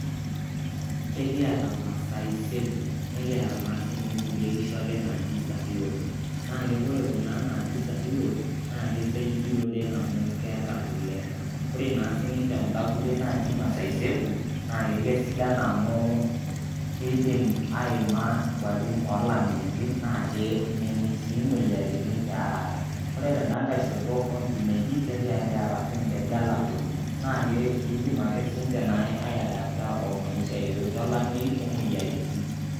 Kekiyata Maasai Zebu nikiyata naa sii ninche nkulie kishu ake naaji Sahiwal, naa ore kuna naaji Sahiwal naa keisaidia oleng' amu keeta kule. Ore naa sii ninche kunda kulie naaji Maasai Zebu naa keisidan amu keidim aima nkuapin oolameitin naa ke mening' sii moyiaritin te haraka. Ore tenda nkai shoto oonkineji kekiyata sii ninche Gala Goats naa eidim sii ninche aiadapta omaisha yoyote olameyu omoyiaritin.